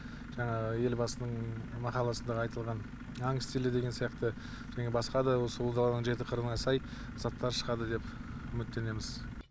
жаңағы елбасының мақаласындағы айтылған аң стилі деген сияқты және басқа да осы ұлы даланың жеті қырына сай заттар шығады деп үміттенеміз